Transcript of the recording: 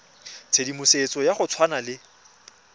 tshedimosetso ya go tshwana le